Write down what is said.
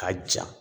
K'a ja